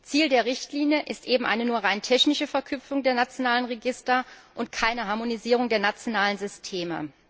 Ziel der Richtlinie ist eben nur eine rein technische Verknüpfung der nationalen Register und keine Harmonisierung der nationalen Systeme.